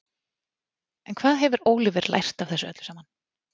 En hvað hefur Óliver lært af þessu öllu saman?